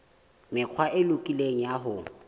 mekgwa e lokileng ya ho